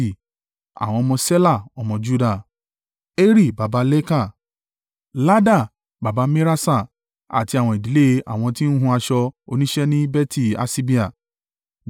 Àwọn ọmọ Ṣela ọmọ Juda: Eri baba Leka, Lada baba Meraṣa àti àwọn ìdílé ilé àwọn tí ń hun aṣọ oníṣẹ́ ní Beti-Aṣibea.